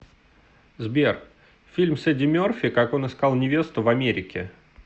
сбер фильм с эди мерфи как он искал невесту в америке